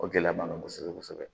O gɛlɛya b'an kan kosɛbɛ kosɛbɛ